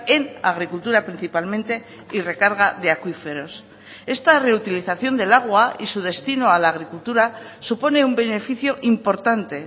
en agricultura principalmente y recarga de acuíferos esta reutilización del agua y su destino a la agricultura supone un beneficio importante